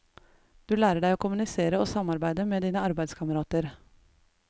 Du lærer deg å kommunisere og samarbeide med dine arbeidskamerater.